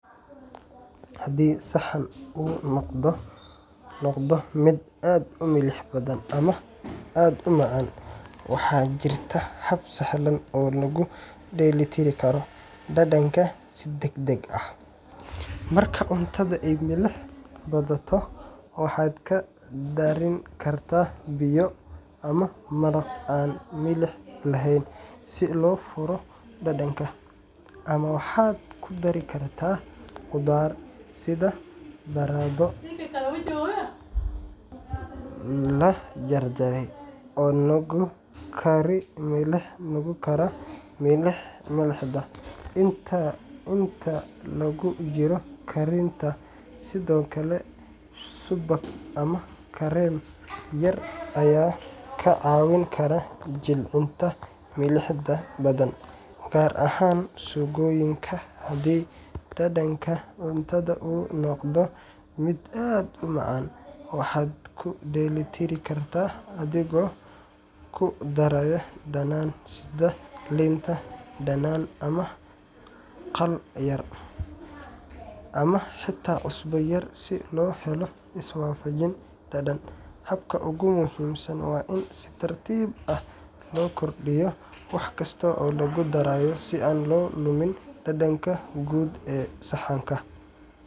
Haddii saxan uu noqdo mid aad u milix badan ama aad u macaan, waxaa jirta hab sahlan oo lagu dheellitiri karo dhadhanka si degdeg ah. Marka cunto ay milix badato, waxaad ku darin kartaa biyo ama maraq aan milix lahayn si loo furo dhadhanka, ama waxaad ku dari kartaa khudaar sida baradho la jarjaray oo nuugi kara milixda inta lagu jiro karinta. Sidoo kale, subag ama kareem yar ayaa kaa caawin kara jilcinta milixda badan, gaar ahaan suugooyinka. Haddii dhadhanka cunto uu noqdo mid aad u macaan, waxaad ku dheellitiri kartaa adigoo ku daraya dhanaan sida liin dhanaan ama khal yar, ama xitaa cusbo yar si loo helo iswaafajin dhadhan. Habka ugu muhiimsan waa in si tartiib ah loo kordhiyo wax kasta oo lagu darayo si aan loo lumin dhadhanka guud ee saxanka.